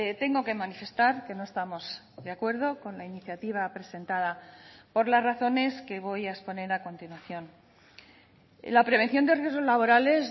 tengo que manifestar que no estamos de acuerdo con la iniciativa presentada por las razones que voy a exponer a continuación la prevención de riesgos laborales